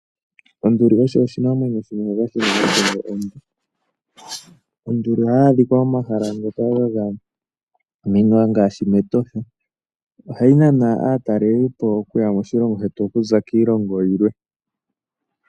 Onduli osho oshinamwenyo oshinene shina othingo onde. Onduli ohayi adhikwa momahala ngoka gagamwenwa ngaashi mEtosha, ohayi nana aataleli po okuya moshilongo shetu okuza kiilongo yilwe.